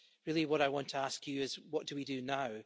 Really, what I want to ask you is what do we do now?